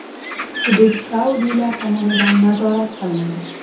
Hudud saudiylar tomonidan nazorat qilinadi.